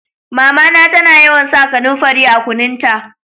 Mama na ta na yawan sa kanumfari a kunun ta.